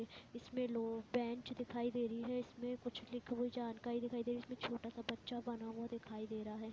इसमें लो बैंच दिखाई दे रही हैं इसमें कुछ लीक हुई जानकारी दिखाई देगी इसमें छोटा सा बच्चा बना हुआ दिखाई दे रहा हैं।